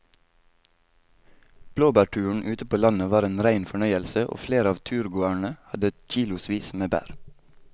Blåbærturen ute på landet var en rein fornøyelse og flere av turgåerene hadde kilosvis med bær.